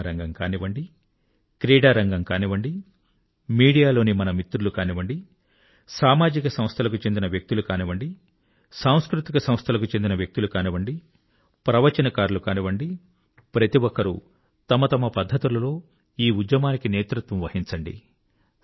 cinema రంగం కానివ్వండి క్రీడారంగం కానివ్వండి మీడియాలోని మన మిత్రులు కానివ్వండి సామాజిక సంస్థలకు చెందిన వ్యక్తులు కానివ్వండి సాంస్కృతిక సంస్థలకు చెందిన వ్యక్తులు కానివ్వండి ప్రవచనకారులు కానివ్వండి ప్రతిఒక్కరూ తమ తమ పద్ధతులలో ఈ ఉద్యమానికి నేతృత్వం వహించండి